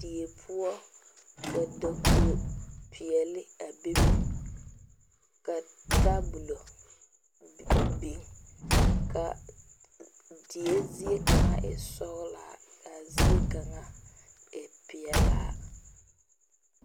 Deɛ pou ka dakoo peeli a bebe ka tabolo beng ka a die zeɛ kanga e sɔglaa ka a zeɛ kanga e peɛlaa.